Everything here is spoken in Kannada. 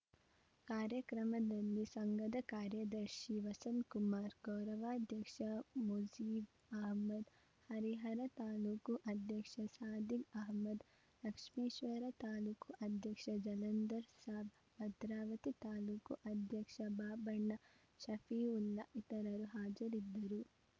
ಕಾರ್ಯಕ್ರಮದಲ್ಲಿ ಸಂಘದ ಕಾರ್ಯದರ್ಶಿ ವಸಂತ್‌ಕುಮಾರ್‌ ಗೌರವಾಧ್ಯಕ್ಷ ಮುುೕಜೀಬ್‌ ಆಹ್ಮದ್‌ ಹರಿಹರ ತಾಲೂಕು ಅಧ್ಯಕ್ಷ ಸಾದಿಕ್‌ ಅಹಮದ್‌ ಲಕ್ಷ್ಮೀಶ್ವರ ತಾಲೂಕು ಅಧ್ಯಕ್ಷ ಜಲಂದರ್‌ ಸಾಬ್‌ ಭದ್ರಾವತಿ ತಾಲೂಕು ಅಧ್ಯಕ್ಷ ಬಾಬಣ್ಣ ಶಫೀವುಲ್ಲಾ ಇತರರು ಹಾಜರಿದ್ದರು